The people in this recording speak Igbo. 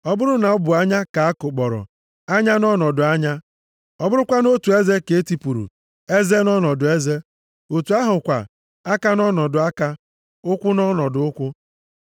Ọ bụrụ na ọ bụ anya ka a kụkpọrọ, anya nʼọnọdụ anya. Ọ bụrụkwa otu eze ka e tipụrụ, eze nʼọnọdụ eze. Otu ahụ kwa, aka nʼọnọdụ aka, ụkwụ nʼọnọdụ ụkwụ.